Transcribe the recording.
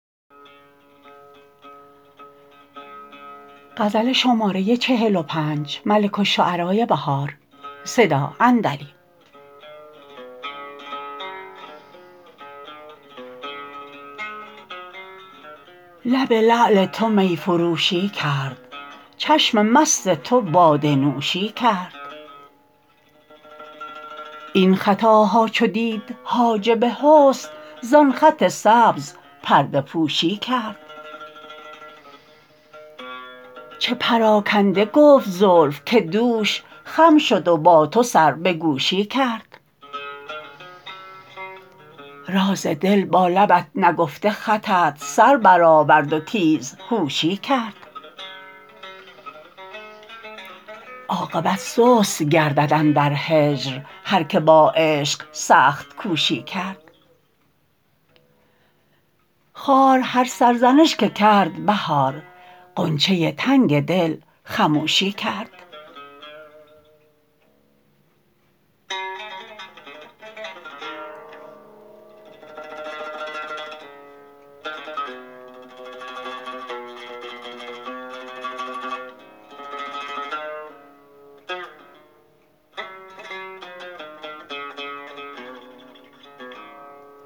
لب لعل تو می فروشی کرد چشم مست تو باده نوشی کرد این خطاها چو دید حاجب حسن زان خط سبز پرده پوشی کرد چه پراکنده گفت زلف که دوش خم شد و با تو سر به گوشی کرد راز دل با لبت نگفته خطت سر برآورد وتیزهوشی کرد عاقبت سست گردد اندر هجر هرکه با عشق سخت کوشی کرد خار هر سرزنش که کرد بهار غنچه تنگ دل خموشی کرد